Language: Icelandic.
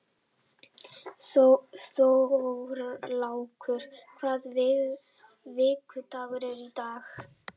Þorlákur, hvaða vikudagur er í dag?